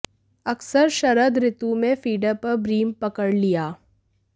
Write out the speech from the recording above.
अक्सर शरद ऋतु में फीडर पर ब्रीम पकड़ लिया